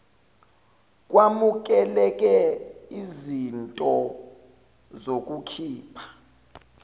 kwamukeleke iznto zokukhipha